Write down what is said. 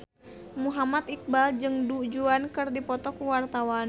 Muhammad Iqbal jeung Du Juan keur dipoto ku wartawan